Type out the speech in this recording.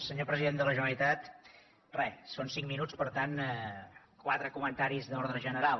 senyor president de la generalitat re són cinc minuts per tant quatre comentaris d’ordre general